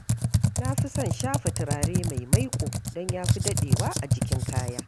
Na fi son shafa turare mai maiƙo don ya fi daɗewa a jikin kaya.